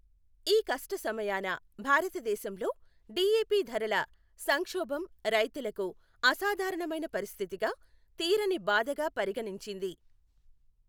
ఈ కష్ట సమయాన భారతదేశంలో డీఏపీ ధరల సంక్షోబం రైతులకు అసాధారణమైన పరిస్థితిగా, తీరని బాధగా పరిగణించింది.